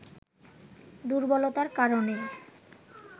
দুর্বলতার কারণে